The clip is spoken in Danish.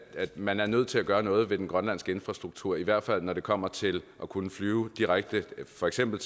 man er nødt til at gøre noget ved den grønlandske infrastruktur i hvert fald når det kommer til at kunne flyve direkte til for eksempel